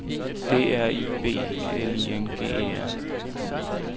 D R I B L I N G E R